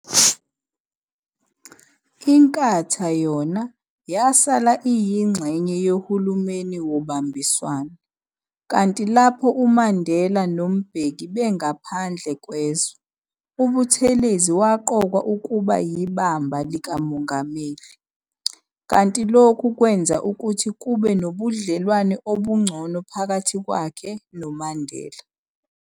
Inkatha yona yasala iyingxenye yohulumeni wobambiswano, kanti lapho uMandela noMbeki bengaphandle kwezwe, uButhelezi waqokwa ukuba yibamba likaMongameli, kanti lokhu kwenza ukuthi kube nobudlelwane obungcono phakathi kwakhe noMandela.